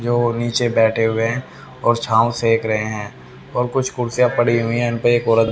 जो नीचे बैठे हुए हैं और छांव सेक रहे हैं और कुछ कुर्सियां पड़ी हुई हैं इन पे औरत--